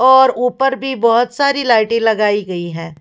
और ऊपर भी बहुत सारी लाइटे लगाई गयी हैं।